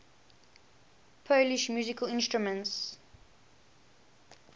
polish musical instruments